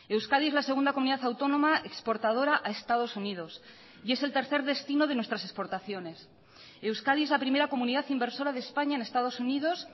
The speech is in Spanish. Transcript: euskadi es la segunda comunidad autónoma exportadora a estados unidos y es el tercer destino de nuestras exportaciones euskadi es la primera comunidad inversora de españa en estados unidos